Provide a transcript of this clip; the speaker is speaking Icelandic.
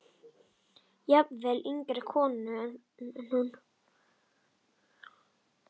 Jafnvel yngri konur en hún.